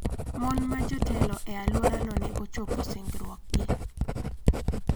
Mon ma jotelo e alworano ne ochopo singruokgi.